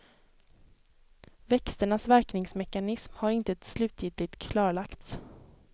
Växternas verkningsmekanism har inte slutgiltigt klarlagts.